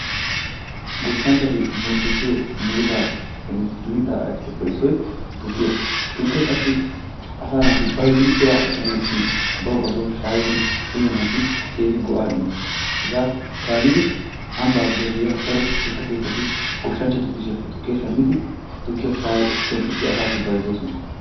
Goshshanchchati murutisiyo muruttappenne mittaa ayfetuppe issoy tukkiya. Tukke qassi asa naati bayzzidi bira ekkanawu gidin bawu bassi bason shaayid uyanasi keehin go'aa immees. Hegaa kaalidi ambba giddon de'iya daro tukke keettati goshshanchchatu kushiyappe tukkiya shammidi tukkiya shayi penttissidi asaassi bayzzoosona.